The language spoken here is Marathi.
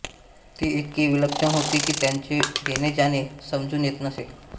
ती इतकी विलक्षण होती की त्यांचे येणेजाणे समजून येत नसे